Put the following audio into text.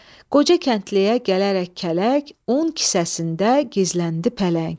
Qoca kəndliyə gələrək kələk un kisəsində gizləndi pələng.